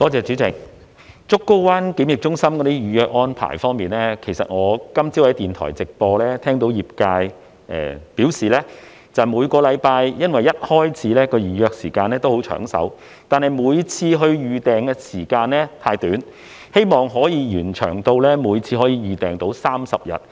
主席，檢疫中心在預約安排方面，我今早聽到業界在電台直播節目中表示，每星期一開始的預約時間都很"搶手"，但是每次預訂時間太短，希望延長至可以提前30日預訂。